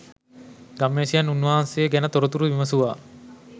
ගම්වැසියන් උන්වහන්සේ ගැන තොරතුරු විමසුවා.